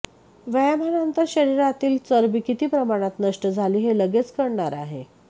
व्यायामानंतर शरीरातील चरबी किती प्रमाणात नष्ट झाली हे लगेच कळणार आहे